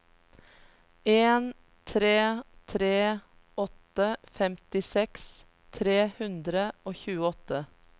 en tre tre åtte femtiseks tre hundre og tjueåtte